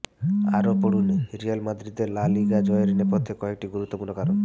আরও পড়ুনঃরিয়াল মাদ্রিদের লা লিগা জয়ের নেপথ্যে কয়েকটি গুরুত্বপূর্ণ কারণ